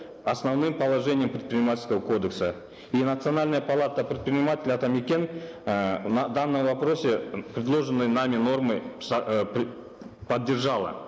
основным положением предпринимательского кодекса и национальная палата предпринимателей атамекен э в данном вопросе предложенные нами нормы поддержала